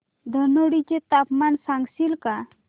धनोडी चे तापमान सांगशील का